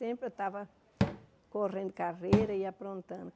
Sempre eu estava correndo carreira e aprontando.